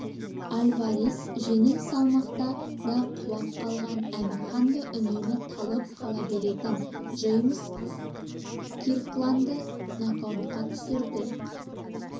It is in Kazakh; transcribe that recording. альварес жеңіл салмақта да құлап қалған әмір ханды үнемі талып қала беретін джеймс киркландты нокаутқа түсірді